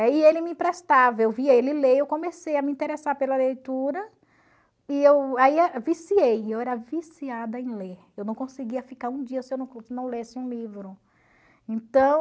aí ele me emprestava, eu via ele ler, eu comecei a me interessar pela leitura, e eu aí viciei, eu era viciada em ler, eu não conseguia ficar um dia se eu não não lesse um livro.